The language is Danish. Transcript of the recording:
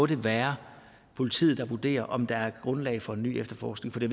det må være politiet der vurderer om der er grundlag for en ny efterforskning for det